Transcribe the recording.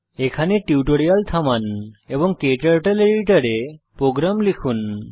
এখানে টিউটোরিয়াল থামান এবং ক্টার্টল এডিটর এ প্রোগ্রাম লিখুন